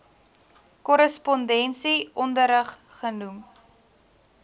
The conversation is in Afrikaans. korrespondensie onderrig genoem